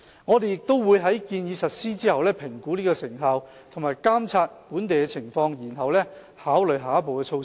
我們亦會在建議實施後，評估其成效及監察本地的情況，然後考慮下一步措施。